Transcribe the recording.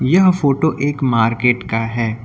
यह फोटो एक मार्केट का है।